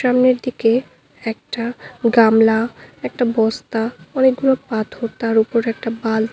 সামনের দিকে একটা গামলা একটা বস্তা অনেকগুলো পাথর তার উপর একটা বাল --